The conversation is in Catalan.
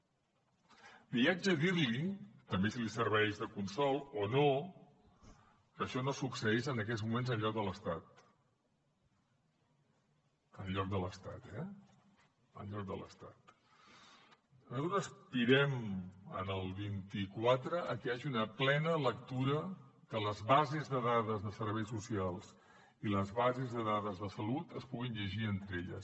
li haig de dir també si li serveix de consol o no que això no succeeix en aquests moments enlloc de l’estat enlloc de l’estat eh nosaltres aspirem el vint quatre a que hi hagi una plena lectura que les bases de dades de serveis socials i les bases de dades de salut es puguin llegir entre elles